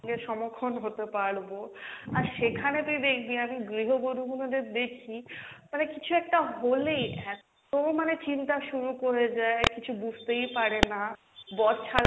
সঙ্গে সমক্ষণ হতে পারবো, আর সেখানে তুই দেখবি না তুই গৃহ বধূ গুলোদের দেখবি মানে কিছু একটা হলেই এত মানে চিন্তা শুরু করে দেই, কিছু বুঝতেই পারে না, বর ছাড়া,